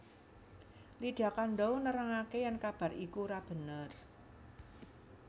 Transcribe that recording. Lydia Kandou nerangaké yèn kabar iku ora bener